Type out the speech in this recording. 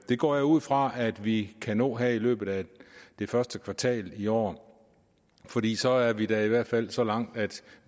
det går jeg ud fra at vi kan nå her i løbet af det første kvartal i år fordi så er vi da i hvert fald så langt at